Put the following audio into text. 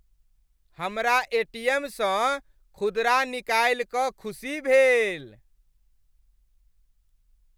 हमरा एटीएमसँ खुदरा निकालि कऽ खुशी भेल।